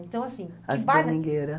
Então, assim... que... As domingueira.